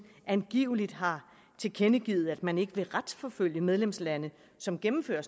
angiveligt har tilkendegivet at man ikke vil retsforfølge medlemslande som gennemfører